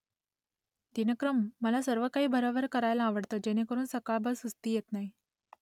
दिनक्रम मला सर्व काही भरभर करायला आवडत जेणेकरून सकाळभर सुस्ती येत नाही ?